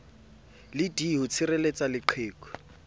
le d ho tshireletsa leqheku